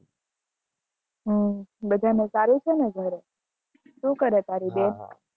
હમ બધા ને સારું છે ને ઘર શું કરે તારી બેન